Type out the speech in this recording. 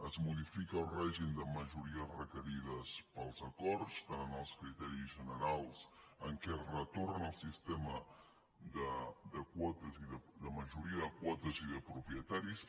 es modifica el règim de majories requerides per als acords tant en els criteris generals en què es retorna al sistema de quotes de majoria de quotes i de propietaris